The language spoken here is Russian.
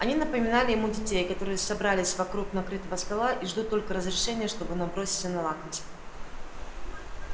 они напоминали ему детей которые собрались вокруг накрытого стола и ждут только разрешения чтобы наброситься на лакомство